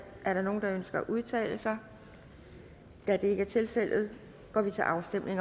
er der nogen der ønsker at udtale sig da det ikke er tilfældet går vi til afstemning